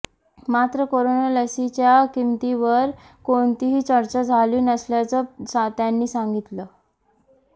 मात्र कोरोना लसीच्या किमतीवर कोणतीही चर्चा झाली नसल्याचं त्यांनी सांगितलं